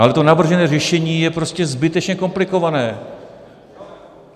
Ale to navržené řešení je prostě zbytečně komplikované.